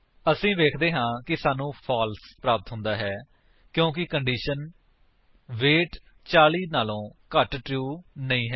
ਅਸੀ ਵੇਖਦੇ ਹਾਂ ਕਿ ਸਾਨੂੰ ਫਾਲਸ ਪ੍ਰਾਪਤ ਹੁੰਦਾ ਹੈ ਕਿਉਂਕਿ ਕੰਡੀਸ਼ਨ ਵੇਟ 40 ਤੋਂ ਘੱਟ ਟਰੂ ਨਹੀਂ ਹੈ